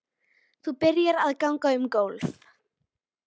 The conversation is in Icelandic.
Það gat enginn látið sér detta það í hug.